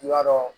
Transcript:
I b'a dɔn